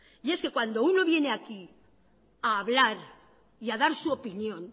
y es que cuando uno viene aquí a hablar y a dar su opinión